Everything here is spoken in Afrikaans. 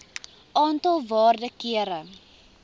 aantal waarde kere